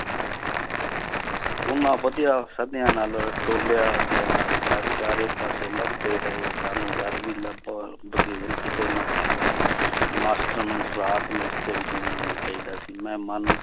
ਉਹਨਾਂ ਵਧਿਆ ਸਧਿਆ ਨਾਲ ਟੋਲਿਆ ਗਿਆ ਪਰ ਚਾਰੇ ਪਾਸੇ ਲੱਭਦੇ ਰਹੇ, ਸਾਨੂੰ ਡਰ ਵੀ ਲੱਗਾ ਬਘੇਲ ਕਿਤੇ ਨਾ ਖਾ ਜਾਵੇ ਰਾਤ ਨੂੰ ਵਿੱਚ ਨਹੀਂ ਆਉਣਾ ਚਾਹੀਦਾ ਸੀ ਮੈਂ ਮਨ